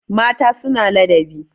mata suna ladabi